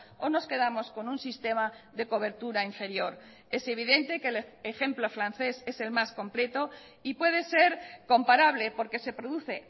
o nos quedamos con un sistema de cobertura inferior es evidente que el ejemplo francés es el más completo y puede ser comparable porque se produce